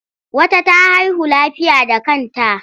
Wata ta haihu lafiya da kanta.